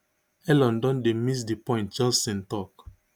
elon don dey miss di point johnson tok